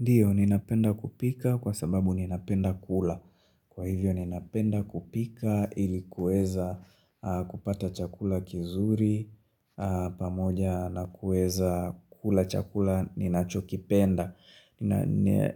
Ndiyo, ninapenda kupika kwa sababu ninapenda kula. Kwa hivyo, ninapenda kupika ilikuweza kupata chakula kizuri, pamoja na kueza kula chakula ninachokipenda.